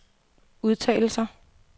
udtalelser